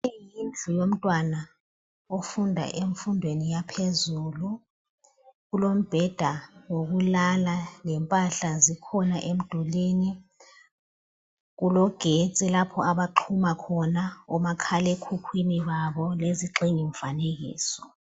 Leyi yindlu yomntwana ofunda emfundweni yaphezulu. Kulombeda wokulala lempahla zikhona emdulini. Kulogetsi lapha abaxhuma khona omakhalekhukhwini babo lezigxingi mfanekiso.